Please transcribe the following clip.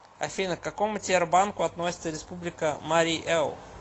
афина к какому тербанку относится республика марий эл